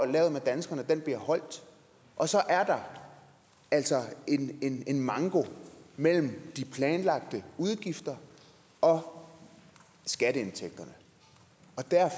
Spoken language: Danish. lavet med danskerne bliver holdt og så er der altså en manko mellem de planlagte udgifter og skatteindtægterne